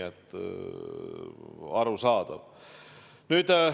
Arusaadav.